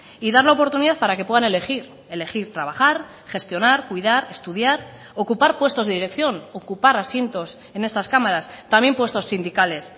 y dar la oportunidad para que puedan elegir elegir trabajar gestionar cuidar estudiar ocupar puestos de dirección ocupar asientos en estas cámaras también puestos sindicales